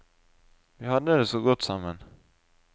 Vi hadde det så godt sammen.